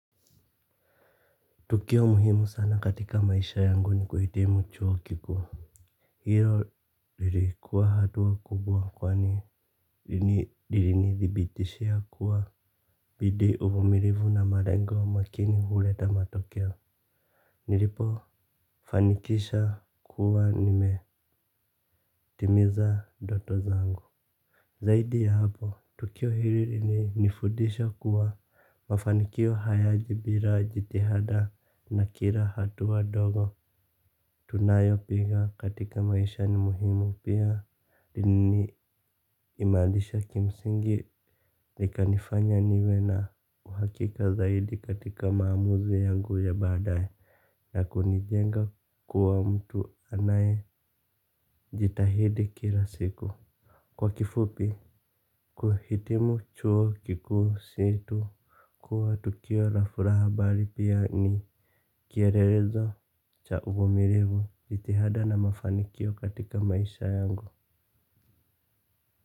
Tukio muhimu sana katika maisha yangu ni kuhitimu chuo kikuu. Hiyo lilikuwa hatua kubwa kwani ilini thibitishia kuwa bidii uvumilivu na malengo makini huleta matokeo. Nilipo fanikisha kuwa nimetimiza ndoto zangu. Zaidi ya hapo, tukio hili ili nifundisha kuwa mafanikio haya jibira jitihada na kirmla hatua ndogo. Tunayopiga katika maisha ni muhimu pia ni imarisha kimsingi nikanifanya niwe na uhakika zaidi katika maamuzi yangu ya badaye. Na kunijenga kuwa mtu anaye jitahidi kila siku. Kwa kifupi, kuhitimu chuo kiku situ kuwa tukio la furaha bali pia ni kielelezo cha uvumilivu jitihada na mafanikio katika maisha yangu.